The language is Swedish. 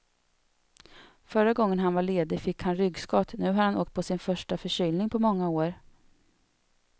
Förra gången han var ledig fick han ryggskott, nu har han åkt på sin första förkylning på många år.